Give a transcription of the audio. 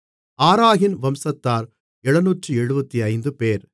ஆராகின் வம்சத்தார் 775 பேர்